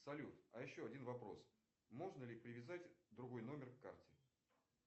салют а еще один вопрос можно ли привязать другой номер к карте